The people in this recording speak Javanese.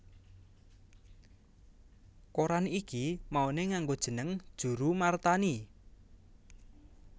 Koran iki mauné nganggo jeneng Djoeroemarthani